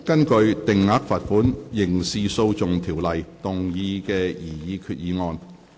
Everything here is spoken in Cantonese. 根據《定額罰款條例》動議的擬議決議案。